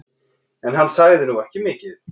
En hann sagði nú ekki mikið.